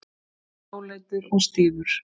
Dáleiddur og stífur.